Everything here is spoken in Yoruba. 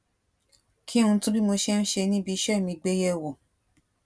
kí n tún bi mo ṣe ń ṣe níbi iṣẹ́ mi gbé yẹ̀wò